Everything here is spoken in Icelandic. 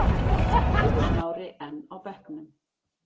Eiður Smári enn á bekknum